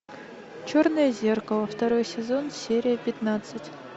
черное зеркало второй сезон серия пятнадцать